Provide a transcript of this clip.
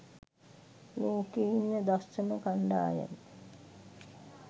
ලෝකේ ඉන්න දක්ෂම කන්ඩායම.